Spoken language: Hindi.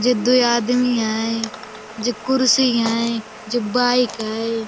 जे दोए आदमी हैं जे कुर्सी हैं जे बाइक हैं।